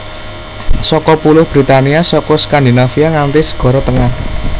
Saka Pulo Britania saka Skandinavia nganti Segara Tengah